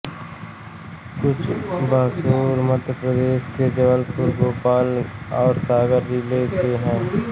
कुछ बसोर मध्य प्रदेश के जबलपुर भोपाल और सागर जिले के हैं